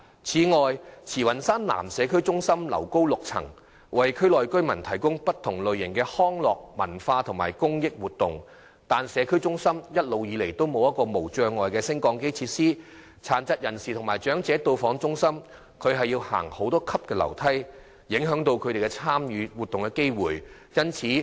此外，慈雲山南社區中心樓高6層，為區內居民提供不同類型的康樂、文化及公益活動，但社區中心一直以來未設有無障礙升降機設施，殘疾人士及長者到訪中心要步上多級樓梯，影響他們參與活動的機會。